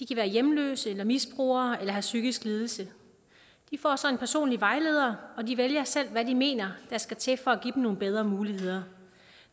hjemløse eller misbrugere eller have en psykisk lidelse de får så en personlig vejleder og de vælger selv hvad de mener skal til for at give dem nogle bedre muligheder